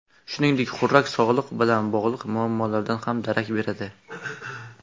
Shuningdek, xurrak sog‘liq bilan bog‘liq muammolardan ham darak beradi.